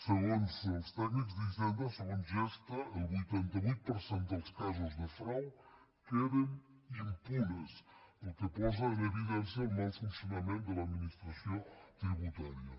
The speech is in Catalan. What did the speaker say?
segons els tècnics d’hi·senda segons gestha el vuitanta vuit per cent dels casos de frau queden impunes la qual cosa posa en evidència el mal funcionament de l’administració tributària